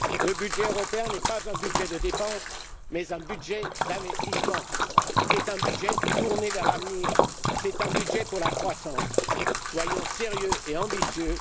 Le budget européen n'est pas un budget de dépenses, mais un budget d'investissement. C'est un budget tourné vers l'avenir, un budget pour la croissance. Soyons sérieux et ambitieux.